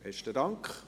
Besten Dank.